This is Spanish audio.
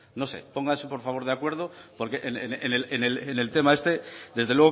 no sé pónganse por favor de acuerdo porque en el tema este desde